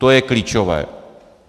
To je klíčové.